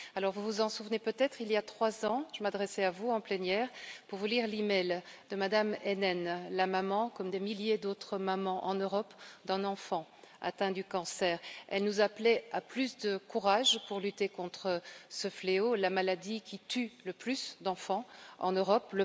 Vous vous en souvenez peut être, il y a trois ans, je m'adressais à vous en plénière pour vous lire l'e mail de Mme Heinen, maman, comme des milliers d'autres mamans en Europe, d'un enfant atteint du cancer. Elle nous appelait à plus de courage pour lutter contre ce fléau, la maladie qui tue le plus d'enfants en Europe.